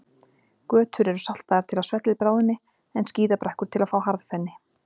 Götur eru saltaðar til að svellið bráðni, en skíðabrekkur til að fá harðfenni.